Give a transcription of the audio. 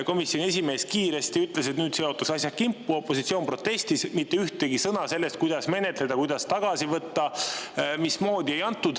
Komisjoni esimees ütles kiiresti, et nüüd seotakse asjad kimpu, opositsioon protestis, aga mitte ühtegi sõna selle kohta, kuidas menetleda, mismoodi tagasi võtta, ei öeldud.